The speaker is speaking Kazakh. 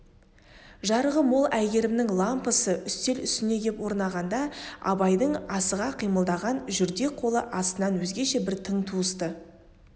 жарығы мол әйгерімнің лампысы үстел үстіне кеп орнағанда абайдың асыға қимылдаған жүрдек қолы астынан өзгеше бір тың туысты